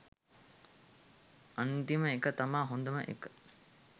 අන්තිම එක තමා හොදම එක